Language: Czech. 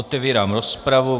Otevírám rozpravu.